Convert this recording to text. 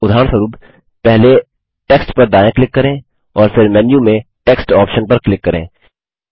उदाहरणस्वरूप पहले टेक्स्ट पर दायाँ क्लिक करें और फिर मेन्यू में टेक्स्ट ऑप्शन पर क्लिक करें